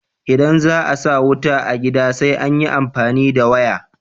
Idan za a sa wuta a gida sai an yi amfani da waya.